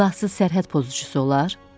Silahsız sərhəd pozucusu olar?